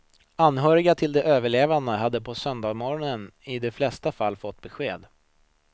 Anhöriga till de överlevande hade på söndagsmorgonen i de flesta fall fått besked.